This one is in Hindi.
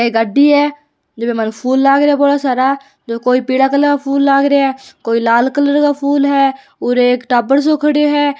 आ गाड़ी है जे में फूल लाग रा है बड़ा सारा जो कोई पीला कलर फूल लाग रा है कोई लाल कलर का फूल है और एक टाबर सो खड़ो है।